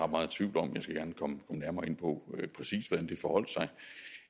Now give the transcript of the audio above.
meget tvivl om jeg skal gerne komme nærmere ind på præcis hvordan det forholdt sig